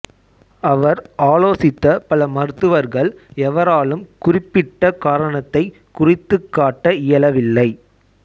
அவர் ஆலோசித்த பல மருத்துவர்கள் எவராலும் குறிப்பிட்ட காரணத்தைக் குறித்துக் காட்ட இயலவில்லை